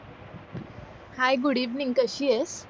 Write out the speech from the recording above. हाय good evening कशी आहेस